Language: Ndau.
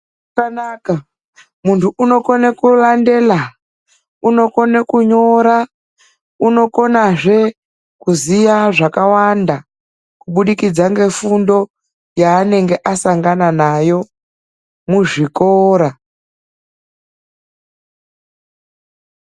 ZVAKANAKA MUNTU UNOKONE KURANDELA UNOKONE KUNYORA UNOKONAZVE KUZIYA ZVAKAWANDA KUBUDIKIDZA NEFUNDO YAANENGE ASANGANA NAYO MUZVIKORA.